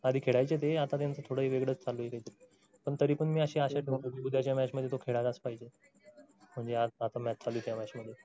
आधी खेळायचे ते आता त्यांचं थोडं कायतर वेगळाच चालू आहे कायतरी. पण तरीपण मी अशी आशा धरतो कि तो उद्याच्या match मध्ये खेळायलाच पाहिजे . म्हणजे आता match चालू आहे त्या match मध्ये